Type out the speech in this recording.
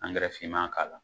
Angɛrɛ finma k'a la.